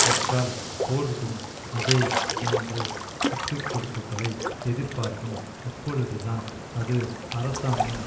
பெற்றால் போர்டும் அதே போன்ற விட்டுக்கொடுப்புகளை எதிர்பார்க்கும் அப்பொழுதுதான் அது அரசாங்கம்